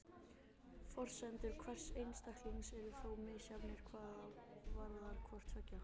Forsendur hvers einstaklings eru þó misjafnar hvað varðar hvort tveggja.